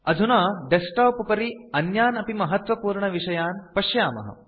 अधुना डेस्कटॉप उपरि अन्यान् अपि महत्वपूर्णविषयान् पश्यामः